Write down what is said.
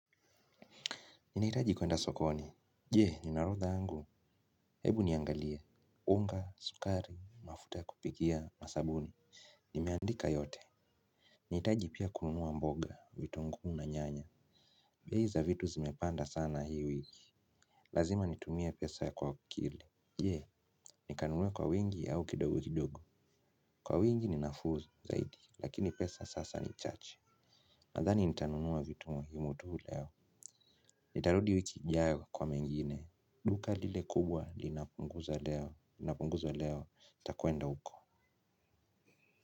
Ninahitaji kwenda sokoni. Jee, nina orodha yangu. Hebu niangalie. Unga, sukari, mafuta ya kupikia, na sabuni. Nimeandika yote. Nahitaji pia kununua mboga, vitunguu na nyanya. Bei za vitu zimepanda sana hii wiki. Lazima nitumie pesa kwa akili. Jee, nikanunue kwa wingi au kidogo kidogo. Kwa wingi ni nafuu zaidi, lakini pesa sasa ni chache. Nadhani nitanunua vitu muhimu tu leo. Nitarudi wiki ijayo kwa mengine. Duka lile kubwa linapunguza leo. Linapunguzwa leo nitakwenda huko.